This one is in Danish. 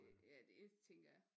Øh ja det tænker jeg